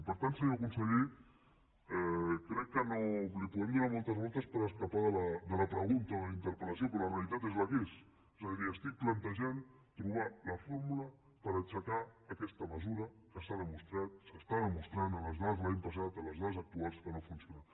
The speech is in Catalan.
i per tant senyor conseller crec que li podem donar moltes voltes per escapar de la pregunta de la inter pel·lació però la realitat és la que és és a dir estic plantejant trobar la fórmula per aixecar aquesta mesura que s’ha demostrat s’està demostrant amb les dades de l’any passat amb les dades actuals que no funciona